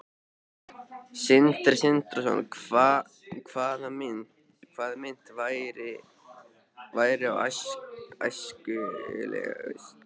Sindri Sindrason: Hvaða mynt væri þá æskilegust?